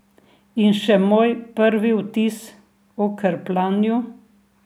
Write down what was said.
In še moj prvi vtis o krpljanju.